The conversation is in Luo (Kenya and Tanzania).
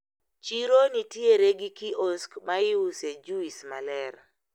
Chiro nitiere gi kiosk maiuse juis maler.